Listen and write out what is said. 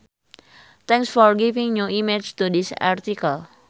Thanks for giving new image to this article.